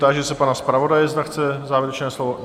Táži se pana zpravodaje, zda chce závěrečné slovo.